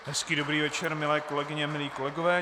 Hezký dobrý večer, milé kolegyně, milí kolegové.